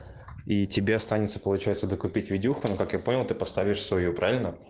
и тебя останется получается докупить видюха на которую ты поставишь свою правельно